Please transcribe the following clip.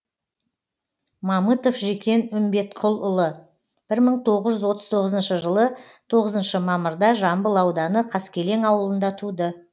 мамытов жекен үмбетқұлұлы бір мың тоғыз жүз отыз тоғызыншы жылы тоғызыншы мамырда жамбыл ауданы қаскелең ауылында туды